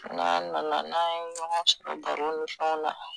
N'a nana n'an ye ɲɔgɔn sɔrɔ bara ni fɛnw na.